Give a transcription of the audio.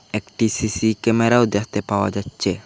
একটি সি_সি ক্যামেরাও দেখতে পাওয়া যাচ্ছে।